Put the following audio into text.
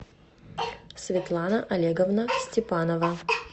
светлана олеговна степанова